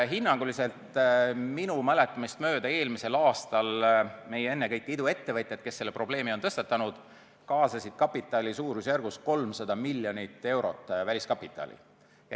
Hinnanguliselt minu mäletamist mööda eelmisel aastal ennekõike meie iduettevõtjad, kes selle probleemi on tõstatanud, kaasasid väliskapitali suurusjärgus 300 miljonit eurot.